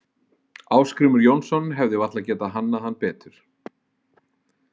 Ásgrímur Jónsson hefði varla getað hannað hann betur.